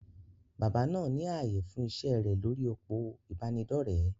Bàbá náà ní ààyè fún iṣẹ́ rẹ̀ lórí òpó ìbánidọ́rẹ̀.